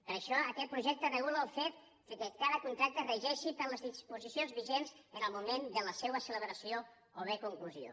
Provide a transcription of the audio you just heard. per això aquest projecte regula el fet que cada contracte regeixi per les disposicions vigents en el moment de la seva celebració o bé conclusió